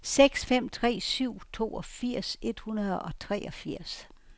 seks fem tre syv toogfirs et hundrede og treogfirs